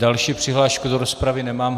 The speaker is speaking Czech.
Další přihlášku do rozpravy nemám.